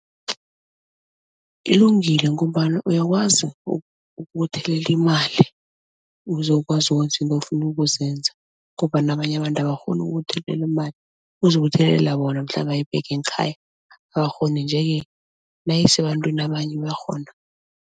Ilungile ngombana uyakwazi ukubuthelelela imali ukuze ukwazi ukwenza into ofuna ukuzenza ngombana abanye abantu abakghoni ukubuthelela imali, ukuzibuthelela bona mhlambe ayibeke ngekhaya abakghoni, nje-ke nayisebantwini abanye bayakghona.